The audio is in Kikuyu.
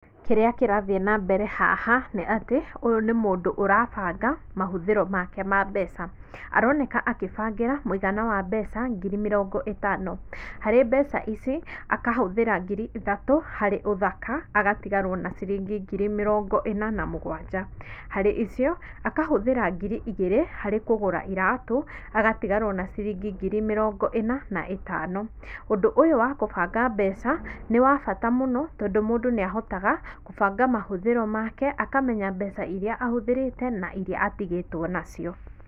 Kĩrĩa kĩrathiĩ na mbere haha, nĩ atĩ ũyũ nĩ mũndũ ũrabanga mahũthĩro make ma mbeca, aroneka akĩbangĩra mũigana wa mbeca ngiri mĩrongo ĩtano, harĩ mbeca ici akahũthĩra ngiri ithatũ harĩ ũthaka, agatigarwo na ciringi ngiri mĩrongo ĩna na mũgwanja, harĩ icio akahũthĩra ngiri igĩrĩ harĩ kũgũra iratũ, agatigarwo na ciringi ngiri mĩrongo ĩna na ĩtano, ũndũ ũyũ wa kũbanga mbeca nĩ wa bata mũno, tondũ mũndũ nĩ ahotaga kũbanga mahũthĩro make, akamenya mbeca iria ahũthĩrĩte na iria atigĩtwo nacio.